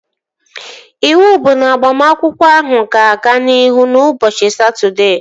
Iwu bụ na agbamakwụkwọ ahụ ga-aga n'ihu ụbọchị Satọdee!